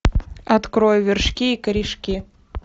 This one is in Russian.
открой вершки и корешки